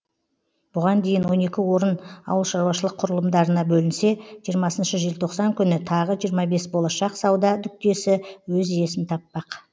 бұған дейін он екі орын ауылшаруашылық құрылымдарына бөлінсе жиырмасыншы желтоқсан күні тағы жиырма бес болашақ сауда нүктесі өз иесін таппақ